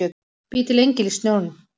Bý til engil í snjóinn.